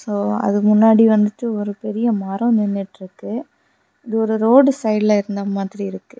அதுக்கு முன்னாடி வந்துட்டு ஒரு பெரிய மரம் நின்னுட்டு இருக்கு இது ஒரு ரோடு சைடுல இருந்த மாதிரி இருக்கு.